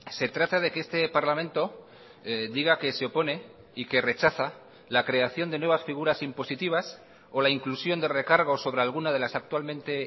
se trata de que este parlamento diga que se opone y que rechaza la creación de nuevas figuras impositivas o la inclusión de recargos sobre alguna de las actualmente